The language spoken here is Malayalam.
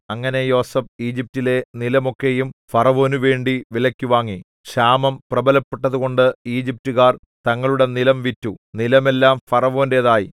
അങ്ങനെ യോസേഫ് ഈജിപ്റ്റിലെ നിലം ഒക്കെയും ഫറവോനുവേണ്ടി വിലയ്ക്കു വാങ്ങി ക്ഷാമം പ്രബലപ്പെട്ടതുകൊണ്ടു ഈജിപ്റ്റുകാർ തങ്ങളുടെ നിലം വിറ്റു നിലമെല്ലാം ഫറവോന്റേതായി